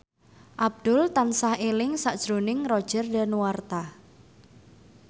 Abdul tansah eling sakjroning Roger Danuarta